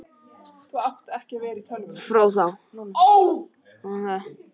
Fróðá